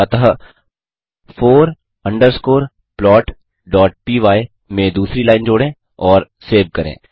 अतः four underscore plotपाय में दूसरी लाइन जोड़ें और सेव करें